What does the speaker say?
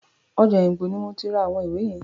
Ọjà Òyìngbò ni mo ti ra àwọn ìwé yẹn.